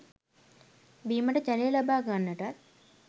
බීමට ජලය ලබා ගන්නටත්